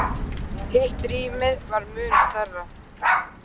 Hitt rýmið var mun stærra.